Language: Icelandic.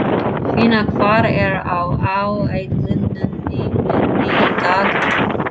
Finna, hvað er á áætluninni minni í dag?